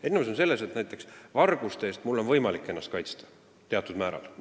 Erinevus on selles, et näiteks varguste eest on mul võimalik ennast teatud määral kaitsta.